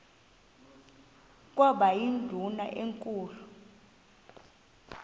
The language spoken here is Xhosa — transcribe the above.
kwaba yindumasi enkulu